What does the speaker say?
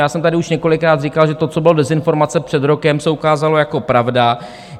Já jsem tady už několikrát říkal, že to, co bylo dezinformace před rokem, se ukázalo jako pravda.